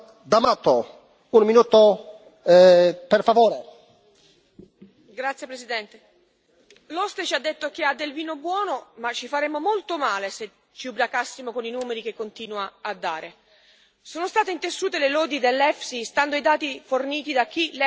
Signor Presidente, onorevoli colleghi, l'oste ci ha detto che ha del vino buono ma ci faremmo molto male se ci ubriacassimo con i numeri che continua a dare. Sono state intessute le lodi dell'EFSI stando ai dati forniti da chi l'EFSI l'aveva progettato.